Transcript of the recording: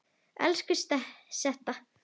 Elsku Setta.